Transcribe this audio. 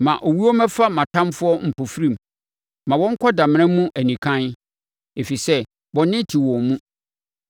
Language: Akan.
Ma owuo mmɛfa mʼatamfoɔ mpofirim; ma wɔnkɔ damena mu anikann, ɛfiri sɛ bɔne te wɔn mu.